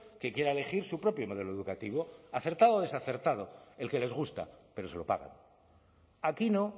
que quiera elegir su propio modelo educativo acertado o desacertado el que les gusta pero se lo pagan aquí no